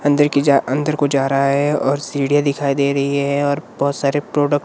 अंदर की जा अंदर को जा रहा है और सीढ़ियां दिखाई दे रही है और बहोत सारे प्रोडक्ट --